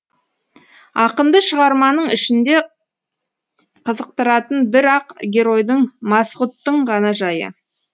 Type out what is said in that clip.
ақынды шығарманың ішінде қызықтыратын бір ақ геройдың масғұттың ғана жайы